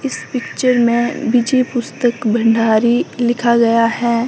इस पिक्चर में विजय पुस्तक भंडारी लिखा गया है।